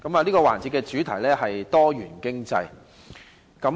這個環節的主題是多元經濟。